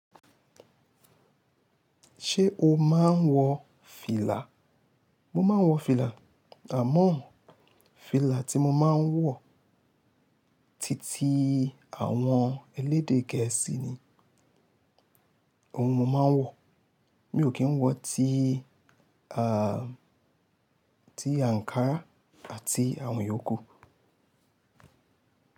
Ṣé o máa ń wọ fìlà? Mo máa ń wọ fìlà, àmọ́ fìlà tí mo máa ń wọ titi àwọn elédè gẹ̀ẹ́sì ni ohun mo máa ń wọ̀. Mi ò kí ń wọ tí tí Ankara àti àwọn yòókù.